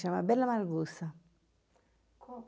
Chama Bela Margusa. Como